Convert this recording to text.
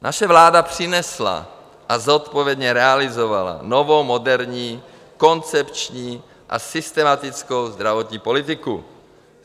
Naše vláda přinesla a zodpovědně realizovala novou, moderní, koncepční a systematickou zdravotní politiku.